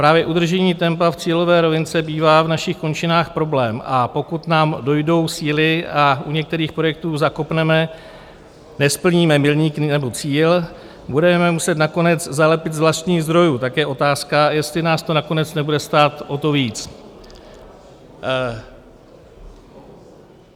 Právě udržení tempa v cílové rovince bývá v našich končinách problém a pokud nám dojdou síly a u některých projektů zakopneme, nesplníme milníky nebo cíl, budeme muset nakonec zalepit z vlastních zdrojů, tak je otázka, jestli nás to nakonec nebude stát o to víc."